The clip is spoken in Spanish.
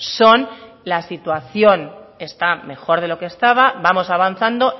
son la situación está mejor de lo que estaba vamos avanzando